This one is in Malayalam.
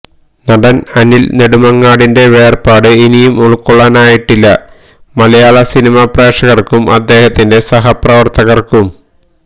നടൻ അനിൽ നെടുമങ്ങാടിന്റെ വേർപാട് ഇനിയും ഉൾക്കൊള്ളാനായിട്ടില്ല മലയാള സിനിമാ പ്രേക്ഷകർക്കും അദ്ദേഹത്തിന്റെ സഹപ്രവർത്തകർക്കും